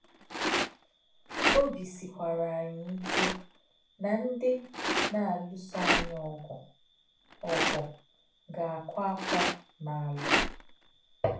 Ọ́bí̄ sị̀kwà̄rà̄ ànyí̄ íkè̄ nà̄ ndí̄ nā̄-álụ́sō ànyí̄ ọ̀gụ́ ọ̀gụ́ gā̄-àkụ̄ àfọ̄ n’álà̄.